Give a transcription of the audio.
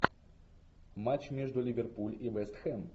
матч между ливерпуль и вест хэм